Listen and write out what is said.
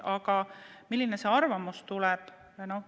Aga milline see arvamus tuleb?